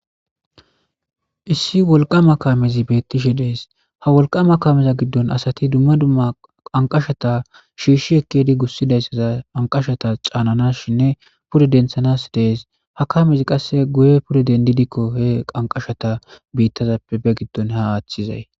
issi wolqama kaamezi beettishe dees ha wolqama kameza giddon asati dumma dumma qanqashata shiishshi ekkedi gussidayssaza anqashata caananas shinne pude denthanas dees ha kamezi qasse guye pure dendidikko he qanqashata biittazappebe giddon ha aaththizay